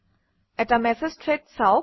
এটা message thread চাওক